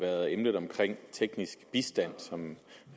været emnet omkring teknisk bistand som